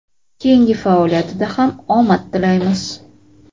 keyingi faoliyatida ham omad tilaymiz!.